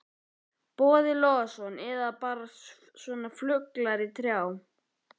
Boði Logason: Eða bara svona fuglar í trjám?